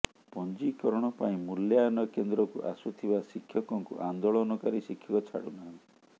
ପଞ୍ଜିକରଣ ପାଇଁ ମୂଲ୍ୟାୟନ କେନ୍ଦ୍ରକୁ ଆସୁଥିବା ଶିକ୍ଷକଙ୍କୁ ଆନ୍ଦୋଳନକାରୀ ଶିକ୍ଷକ ଛାଡ଼ୁ ନାହାଁନ୍ତି